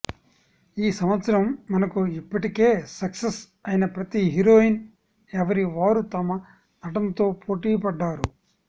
ఈ సంవత్సరం మనకు ఇప్పటికే సక్సెస్ అయిన ప్రతి హీరోయిన్ ఎవరివారు తమ నటనతో పోటీ పడ్డారు